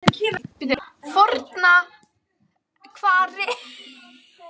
Fornahvarfi